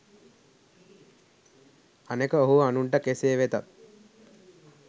අනෙක ඔහු අනුන්ට කෙසේ වෙතත්